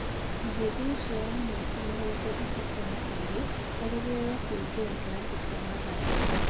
Mũhĩndi ũcio wa mĩaka mĩrongo ĩtatũ na ĩrĩ erĩgĩrĩirwo kũingĩra kĩrabũ kĩa Mathare